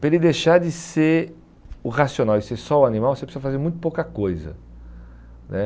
Para ele deixar de ser o racional e ser só o animal, você precisa fazer muito pouca coisa né.